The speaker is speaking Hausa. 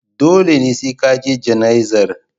Dole ne sai ka je jana'izar.